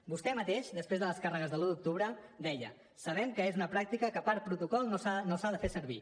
vostè mateix després de les càrregues de l’un d’octubre deia sabem que és una pràctica que per protocol no s’ha de fer servir